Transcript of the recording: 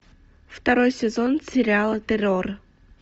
второй сезон сериала террор